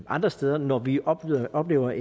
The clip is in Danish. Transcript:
andre steder når vi oplever oplever